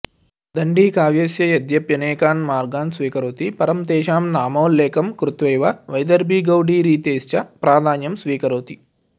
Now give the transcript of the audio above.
दण्डी काव्यस्य यद्यप्यनेकान् मार्गान् स्वीकरोति परं तेषां नामोल्लेखं कृत्वैव वैदर्भीगौडीरीतेश्च प्राधान्यं स्वीकरोति